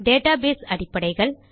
database அடிப்படைகள்